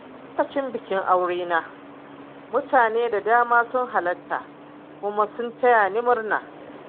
Lokacin bikin aure na, mutane da dama sun halarta kuma sun taya ni murna.